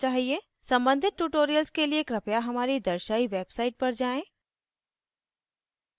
सम्बंधित tutorials के लिए कृपया हमारी दर्शायी website पर जाएँ: